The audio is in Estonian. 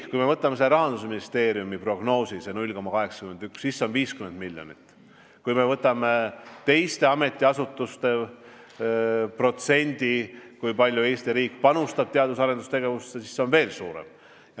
Kui me vaatame Rahandusministeeriumi prognoosi, seda 0,81, siis see tähendab 50 miljonit; kui me vaatame teiste ametiasutuste protsenti, kui palju Eesti riik panustab teadus- ja arendustegevusse, siis see summa on veel suurem.